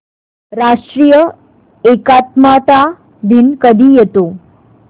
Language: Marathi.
राष्ट्रीय एकात्मता दिन कधी येतो